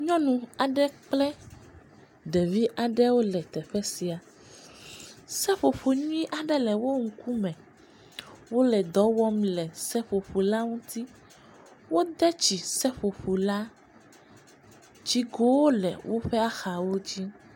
Nyɔnu aɖe kple ɖevi aɖewo le teƒe sia. Seƒoƒo nyuie aɖe le wo ŋkume. Wole dɔ wɔm le seƒoƒola ŋuti. Wode tsi seƒoƒola. Tsigowo le woƒe axawo dzi.